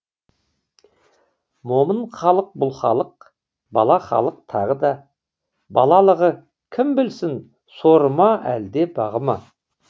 момын халық бұл халық бала халық тағы да балалығы кім білсін соры ма әлде бағы ма